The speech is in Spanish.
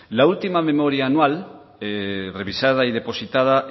la última memoria anual revisada y depositada